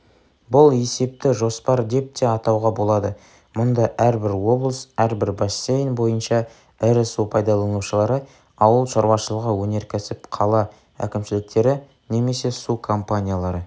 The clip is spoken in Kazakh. бұл есепті жоспар деп те атауға болады мұнда әрбір облыс әрбір бассейн бойынша ірі су пайдаланушылары ауыл шаруышылығы өнерксіп қала кімшіліктері немесе су компаниялары